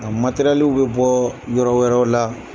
A matɛrɛliw be bɔɔ yɔrɔ wɛrɛw la.